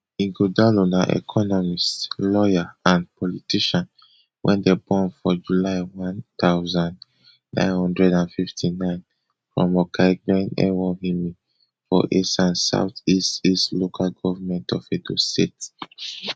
ighodalo na economist lawyer and politician wey dem born for july one thousand, nine hundred and fifty-nine from okaigben ewohimi for esan south east east local govment of edo state